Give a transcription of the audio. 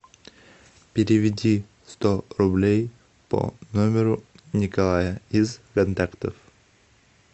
переведи сто рублей по номеру николая из контактов